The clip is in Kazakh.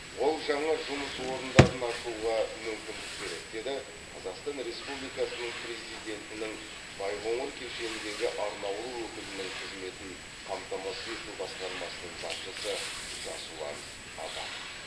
ол жаңа жұмыс орындарын ашуға мүмкіндік береді деді қазақстан республикасының президентінің байқоңыр кешеніндегі арнаулы өкілінің қызметін қамтамасыз ету басқармасының басшысы жасұлан абатов